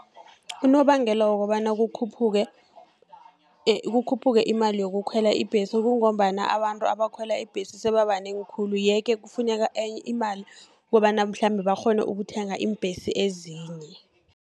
Unobangela wokobana kukhuphuke imali yokukhwela ibhesi, kungombana abantu abakhwela ibhesi sebabanengi khulu. Ye-ke kufuneka enye imali kobana mhlambe bakghone ukuthenga iimbhesi ezinye.